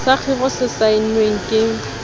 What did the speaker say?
sa khiro se saennweng ke